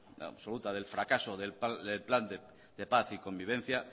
absoluta del fracaso del plan de paz y convivencia